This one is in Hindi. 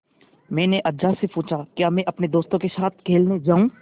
मैंने अज्जा से पूछा क्या मैं अपने दोस्तों के साथ खेलने जाऊँ